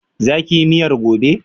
Za ki yi miyar gobe?